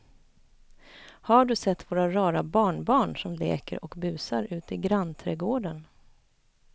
Har du sett våra rara barnbarn som leker och busar ute i grannträdgården!